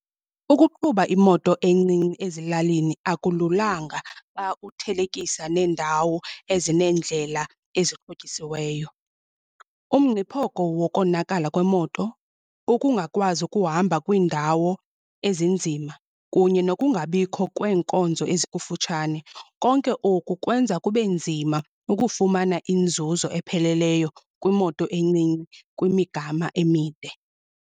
Ukuqhuba imoto encinci ezilalini akululanga xa uthelekisa neendawo ezineendlela ezixhotyisiweyo. Umngciphoko wokonakala kwemoto, ukungakwazi ukuhamba kwiindawo ezinzima kunye nokungabikho kweenkonzo ezikufutshane. Konke oku kwenza kube nzima ukufumana inzuzo epheleleyo kwimoto encinci kwimigama emide.